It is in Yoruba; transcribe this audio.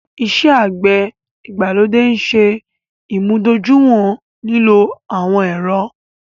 Ìṣẹ̀ àgbẹ̀ igbalodè nṣè imúdọ̀júìwọ̀n lílò awọn èrọ̀